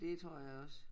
Det tror jeg også